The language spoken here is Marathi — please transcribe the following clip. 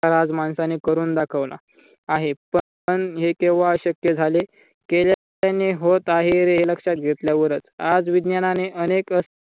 आज माणसाने करून दाखवला आहे. पण हे केंव्हा शक्य झाले. केल्याने होत आहे रे हे लक्षात घेतल्यावरच. आज विज्ञानाने अनेक